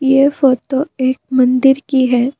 ये फोटो एक मंदिर की है।